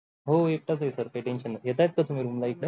हो एकाटाच आहे sir काही tension नाही येततात का तुम्ही room ला इथ